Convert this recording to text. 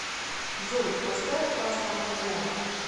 джой поставь аста маньяна